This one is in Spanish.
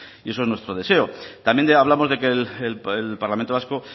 eso es nuestro deseo también hablamos de que el parlamento vasco